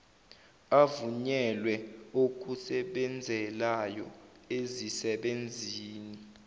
avunyelwe okusebenzelana ezisebenzini